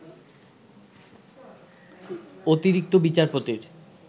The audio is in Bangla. অতিরিক্ত বিচারপতির